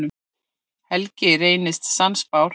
Helgi reynist sannspár.